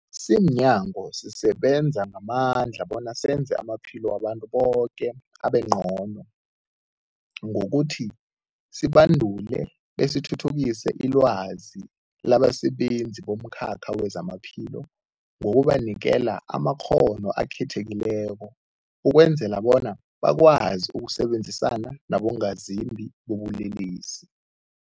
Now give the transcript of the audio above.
Simnyango, sisebenza ngamandla bona senze amaphilo wabantu boke abengcono ngokuthi sibandule besithuthukise ilwazi labasebenzi bomkhakha wezamaphilo ngokubanikela amakghono akhethekileko ukwenzela bona bakwazi ukusebenzisana nabongazimbi bobulelesi.